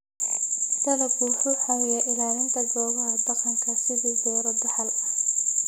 Dalaggu wuxuu caawiyaa ilaalinta goobaha dhaqanka sidii beero dhaxal ah.